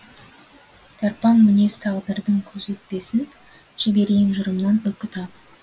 тарпаң мінез тағдырдың көзі өтпесін жіберейін жырымнан үкі тағып